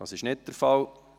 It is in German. – Das ist nicht der Fall.